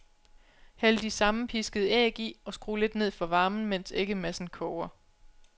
Hæld de sammenpiskede æg i og skru lidt ned for varmen, mens æggemassen koger.